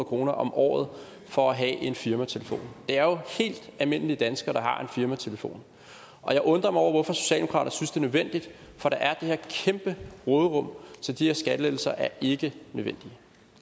kroner om året for at have en firmatelefon det er jo helt almindelige danskere der har en firmatelefon og jeg undrer mig over hvorfor socialdemokraterne nødvendigt for der er det her kæmpe råderum så de her skattelettelser er ikke nødvendige